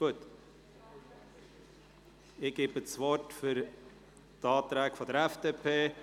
Ich gebe das Wort Grossrätin Schmidhauser zur die Erläuterung der Anträge der FDP.